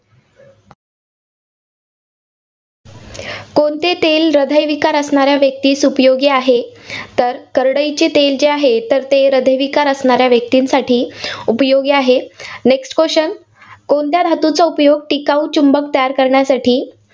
कोणते तेल हृदयविकार असणाऱ्या व्यक्तीस उपयोगी आहे? तर करडईचे तेल जे आहे तर ते हृदयविकार असणाऱ्या व्यक्तींसाठी उपयोगी आहे. Next question कोणत्या धातूचा उपयोग टिकाऊ चुंबक तयार करण्यासाठी